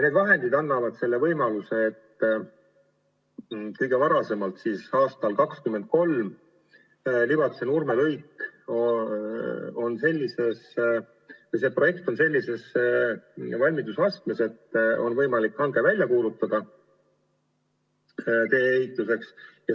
Need vahendid annavad võimaluse, et kõige varem 2023. aastal on Libatse–Nurme lõigu projekt sellises valmidusastmes, et on võimalik välja kuulutada tee-ehituse hange.